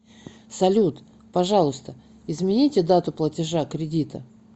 салют пожалуйста измените дату платежа кредита